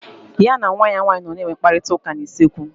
Ya na nwa ya nwaanyị nọ na enwe mkparịta ụka na usekwu